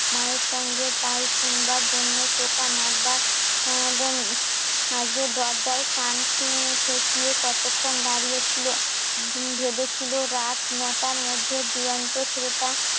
মায়ের সঙ্গে কাল শুনবার জন্য টোকা মারবার আগে দরজায় কান খেয়ে চেঁচিয়ে কতক্ষণ দাঁড়িয়ে ছিল ভেবেছিল রাত নটার মধ্যে দুরন্ত ছেলেটা